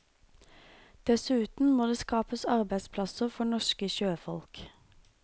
Dessuten må det skapes arbeidsplasser for norske sjøfolk.